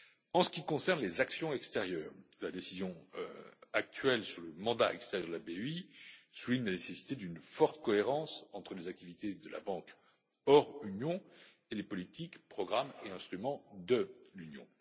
En ce qui concerne les actions extérieures, la décision actuelle sur le mandat extérieur de la BEI souligne la nécessité d'une forte cohérence entre les activités de la banque hors Union et les politiques, programmes et instruments de l'Union.